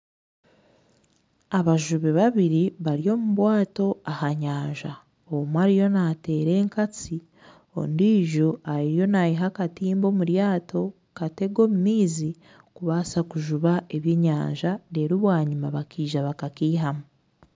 Abajubi babiri bari omu bwato omunyanza omwe ariyo naateera enkatsi ondiijo ariyo nayiha akatimba omuryato kukatega omu maizi kubaasa kujuba ebyenyanja reeru bwanyima bakaija bakakeihamu